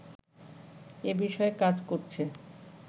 এ বিষয়ে কাজ করছে